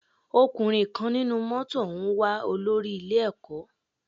Ọkùnrin kan nínú mótò ń wá olórí ilé ẹ̀kọ́.